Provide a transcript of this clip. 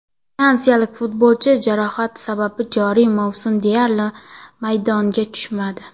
Fransiyalik futbolchi jarohat sabab joriy mavsum deyarli maydonga tushmadi.